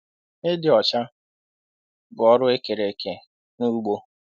Ịdị ọcha bụ ọrụ ekere eke n'ugbo.